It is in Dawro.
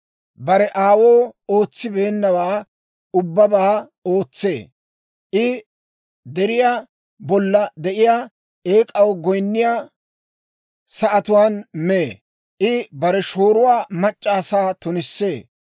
bare aawuu ootsibeennawaa ubbabaa ootsee. I deriyaa bolla de'iyaa eek'aw goyinniyaa sa'atuwaan mee; I bare shooruwaa mac'c'a asaa tunissee;